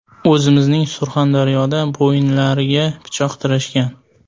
O‘zimizning Surxondaryoda bo‘ynilariga pichoq tirashgan.